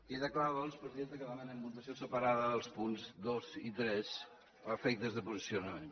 queda clar doncs presidenta que demanem votació separada dels punts dos i tres a efectes de posicionament